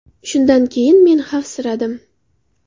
Shundan keyin men xavfsiradim.